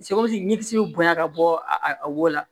ɲɛsi bɛ bonya ka bɔ a wo la